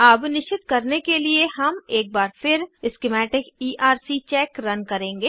अब निश्चित करने के लिए हम एक बार फिर स्किमैटिक ईआरसी चेक रन करेंगे